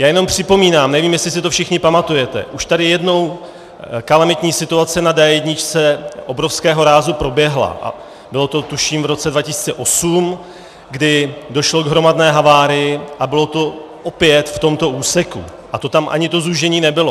Já jenom připomínám, nevím, jestli si to všichni pamatujete, už tady jednou kalamitní situace na D1 obrovského rázu proběhla, bylo to, tuším, v roce 2008, kdy došlo k hromadné havárii, a bylo to opět v tomto úseku, a to tam ani to zúžení nebylo.